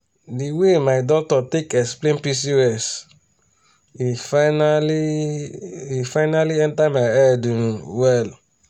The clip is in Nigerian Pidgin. the way my doctor take explain pcos e finally e finally enter my head um well.